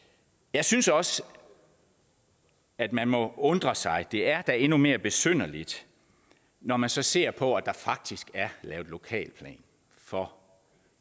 jeg synes også at man må undre sig det er da endnu mere besynderligt når man så ser på at der faktisk er lavet lokalplan for